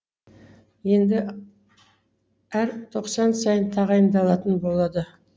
енді әр тоқсан сайын тағайындалатын болады